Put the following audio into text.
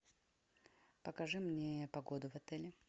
покажи мне погоду в отеле